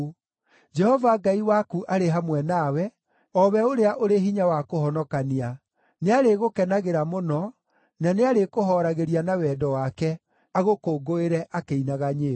Jehova Ngai waku arĩ hamwe nawe, o we ũrĩa ũrĩ hinya wa kũhonokania. Nĩarĩgũkenagĩra mũno, na nĩarĩkũhooragĩria na wendo wake, agũkũngũĩre akĩinaga nyĩmbo.”